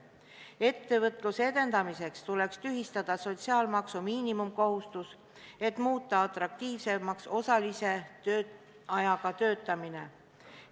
Ettevõtluse edendamiseks tuleks tühistada sotsiaalmaksu miinimumkohustus, et muuta atraktiivsemaks osalise tööajaga töötamine.